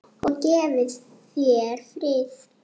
Og gefi þér frið.